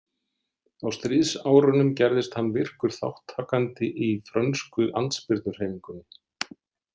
Á stríðsárunum gerðist hann virkur þátttakandi í frönsku andspyrnuhreyfingunni.